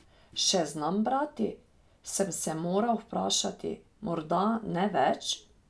Še znam brati, sem se moral vprašati, morda ne več?